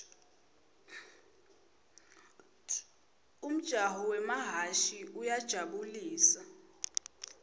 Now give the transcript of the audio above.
umjaho wemahhashi uyajabu lisa